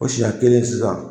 O siya kelen sisan